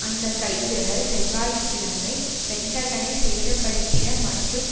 அந்த கைதுகள் செவ்வாய் கிழமை பென்டகனை சேத படுத்திய மற்றும்